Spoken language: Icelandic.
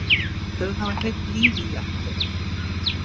Þau hafa hleypt lífi í allt hér.